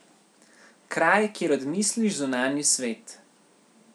Kraj, kjer odmisliš zunanji svet.